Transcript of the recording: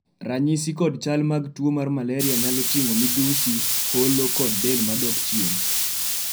ranyisi kod chal mag tuo mar malaria nyalo ting'o midhusi, holo kod del madok chien